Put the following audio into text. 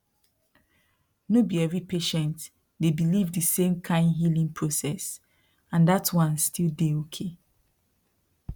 no be every patient dey believe the same kind healing process and that one still dey okay